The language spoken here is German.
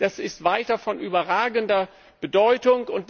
Das ist weiterhin von überragender Bedeutung.